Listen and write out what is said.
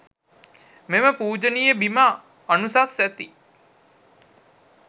මෙම පූජනීය බිම අනුසස් ඇති